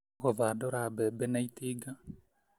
Gũthandũra mbembe na itinga